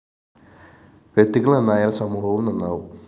വ്യക്തികള്‍ നന്നായാല്‍ സമൂഹവും നന്നാവും